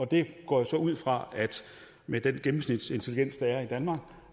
det går jeg så ud fra med den gennemsnitsintelligens der er i danmark